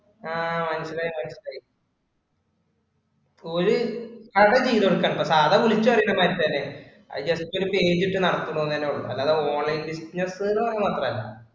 ആഹ് മനസ്സിലായി ~മനസ്സിലായി ഓര് കട ചെയ്തു കൊടുക്കണുണ്ട്. കട വിളിച്ചറിയിക്കും മനുഷ്യേനെ. അത് just ഒരു page ഇട്ടു നടക്കുന്നു എന്ന് തന്നെ ഉള്ളു. അല്ലാതെ online business എന്ന് പറഞ്ഞ മാത്രമല്ല.